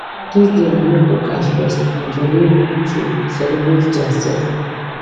di day na make workers rest and jolly abd to celebrate diasefs